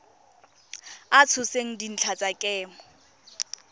a tshotseng dintlha tsa kemo